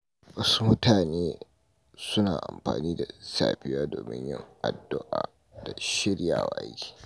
Wasu mutane suna amfani da safiya domin yin addu’a da shiryawa don aiki.